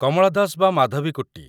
କମଳା ଦାସ ବା ମାଧବିକୁଟ୍ଟି